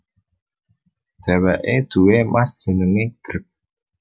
Dheweke duwé Mas jenenge Greg